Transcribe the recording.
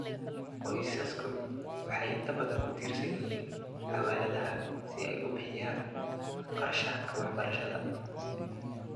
Qoysasku waxay inta badan ku tiirsan yihiin xawaaladaha si ay u bixiyaan kharashaadka waxbarashada.